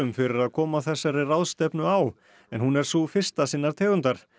fyrir að koma þessari ráðstefnu á en hún er sú fyrsta sinnar tegundar